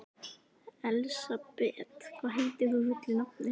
Elsabet, hvað heitir þú fullu nafni?